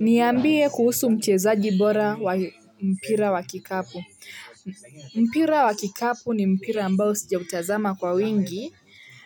Niambie kuhusu mchezaji bora wa mpira wa kikapu. Mpira wa kikapu ni mpira ambao sijautazama kwa wingi.